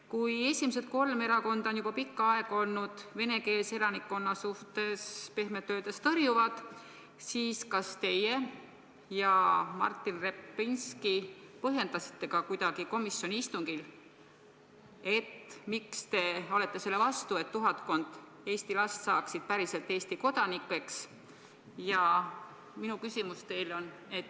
Kui esimesed kolm erakonda on juba pikka aega olnud venekeelse elanikkonna suhtes pehmelt öeldes tõrjuvad, siis kas teie ja Martin Repinski põhjendasite kuidagi komisjoni istungil, miks te olete selle vastu, et tuhatkond Eesti last saaks päriselt Eesti kodanikeks?